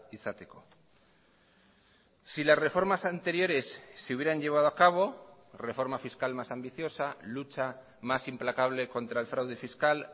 izateko si las reformas anteriores se hubieran llevado a cabo reforma fiscal más ambiciosa lucha más implacable contra el fraude fiscal